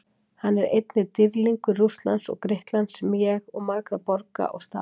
Hann er einnig dýrlingur Rússlands og Grikklands, sem og margra borga og staða.